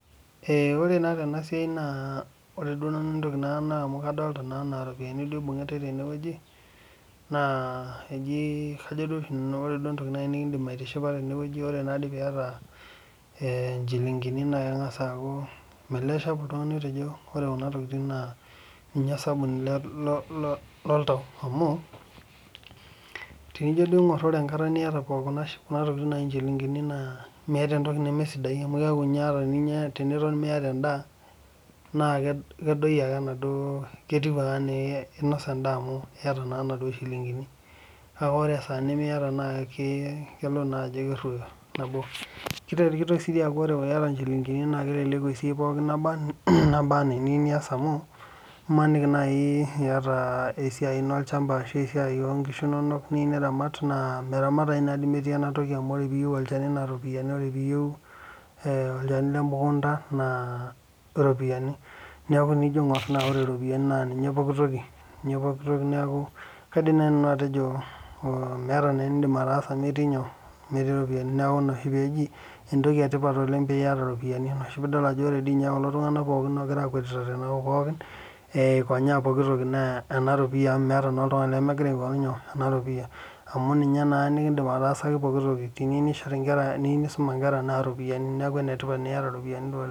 Ore naa tenasiai naa ore duo nanu entoki duo naa kadoolita naa anaa iropiani duo ibungitae tenewueji naa eji kajo duo oshi nanu ore duo entoki duo nikidim aitishipa tenewueji ore naa doi pee iata eeh inchilingini naa kegas aaku meeleeisho apa oltungani apa otejo ore Kuna tokitin naa niche osabuni loltau amu tenijo duo aigor ore enkata pooki niata Kuna tokitin naaji inchilingini naa meeta entoki neme sidai amu keeku ninye teniton ninye miata endaa naa kedoyio ake duo ena duo ketiu ake enaainosa endaa amu iyata naa naduoo shilingini, kake ore esaa nimiata naa idol naa Ajo keruoyo, nabo, kitoki sii dii aaku ore iyata inchilingini na keleleku esiai pooki nabaa ana eniyieu niaas amu imaniki naaji iata esiai ino olchamba ashuu esiai ooh nkisu inonok niyieu noramat naa meramatayu naa doi metii enatoki amu ore piiyiu olchani naa iropiani ore piiyie olchani lemukunta naa iropiani, neeku tenijo aingor naa ore iropiani naa niche pooki toki neeku kaidim naaji nanu atejo meeta enidim ataasa metii iropiani . Neeku inaoshi pee eji entoki etipat oleng peeiata iropiani Ina oshi peyie idol ajo ore dii ninye kulo tungana pooki ogira akwetita tenakop pooki eikonyaa pokitiki naa enaropia amu meeta naa oltugani lemegira aingoru nyoo enaropia, amu ninye naa nekidim ataasaki pokitiki teniyieu neisoma inkera naa ena ropia neeku enetipat teniata iropiani.